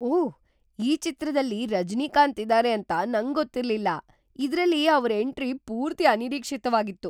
ಓಹ್! ಈ ಚಿತ್ರದಲ್ಲಿ ರಜನೀಕಾಂತ್ ಇದಾರೆ ಅಂತ ನಂಗೊತ್ತಿರ್ಲಿಲ್ಲ. ಇದ್ರಲ್ಲಿ ಅವ್ರ್‌ ಎಂಟ್ರಿ ಪೂರ್ತಿ ಅನಿರೀಕ್ಷಿತ್ವಾಗಿತ್ತು.